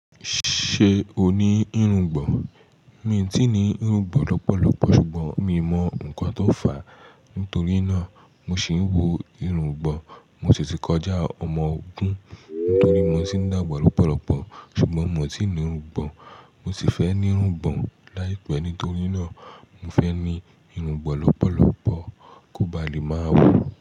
Ṣé o ní irungbọ̀n? Mi ò tíì ní irungbọ̀n lọ́pọ̀lọ́pọ̀ ṣùgbọ́n mi mọ ǹkan tó fà á. Nítorínà, mo sì ń wo irungbọ̀n. Mo sì ti kọjá ọmọ ogun nítorí mo sì ń dàgbà lọ́pọ̀lọ́pọ̀ ṣùgbọ́n mo tiì ní irungbọ̀n. Mo sì fẹ́ ní irungbọ̀n láìpẹ́ nítorínà mo fẹ́ ní irungbọ̀n lọ́pọ̀lọ́pọ̀ kó ba lè máa wò.